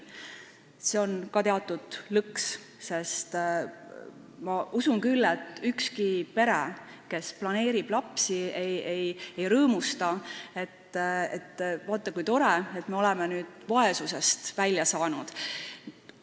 See on ka teatud lõks, sest mina usun küll, et ükski pere, kes planeerib lapse sündi, ei rõõmusta, et vaata kui tore, me oleme nüüd vaesusest välja saanud.